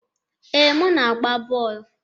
Ee, m na-agba bọọlụ.